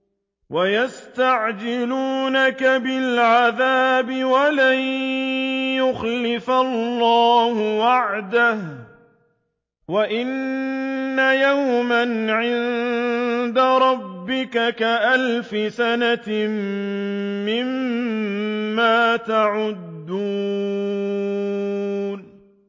وَيَسْتَعْجِلُونَكَ بِالْعَذَابِ وَلَن يُخْلِفَ اللَّهُ وَعْدَهُ ۚ وَإِنَّ يَوْمًا عِندَ رَبِّكَ كَأَلْفِ سَنَةٍ مِّمَّا تَعُدُّونَ